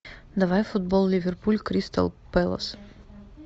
давай футбол ливерпуль кристал пэлас